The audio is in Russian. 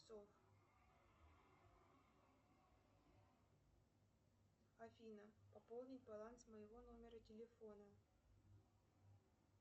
афина пополнить баланс моего номера телефона